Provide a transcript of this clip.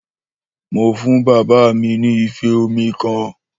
Mó fún bàbá mi ni ìfé òmí kan.